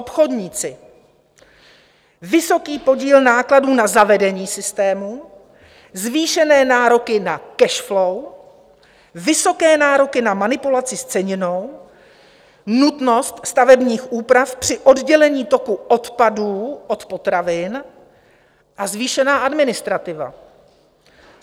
Obchodníci - vysoký podíl nákladů na zavedení systému, zvýšené nároky na cash-flow, vysoké nároky na manipulaci s ceninou, nutnost stavebních úprav při oddělení toku odpadů od potravin a zvýšená administrativa.